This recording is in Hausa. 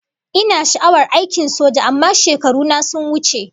Ina sha'awar aikin soja amma shekaru na sun wuce